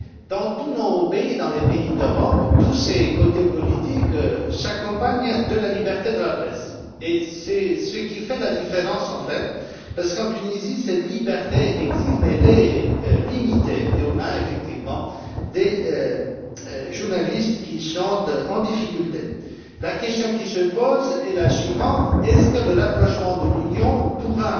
Dans tous nos pays, dans les pays d'Europe, tous ces côtés politiques s'accompagnent de la liberté de la presse, et c'est ce qui fait la différence, en fait, parce qu'en Tunisie, cette liberté existe, mais elle est limitée, et l'on a, effectivement, des journalistes qui sont en difficulté. La question qui se pose est la suivante est ce que le rapprochement de l'Union pourra